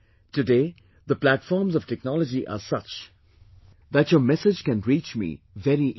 Today the platforms of technology are such that your message can reach me very easily